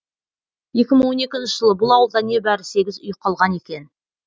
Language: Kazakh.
екі мың он екінші жылы бұл ауылда небәрі сегіз үй қалған екен